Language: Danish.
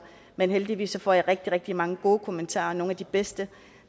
men heldigvis får jeg rigtig rigtig mange gode kommentarer og nogle af de bedste